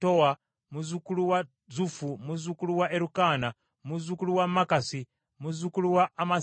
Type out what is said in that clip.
muzzukulu wa Zufu, muzzukulu wa Erukaana, muzzukulu wa Makasi, muzzukulu wa Amasayi;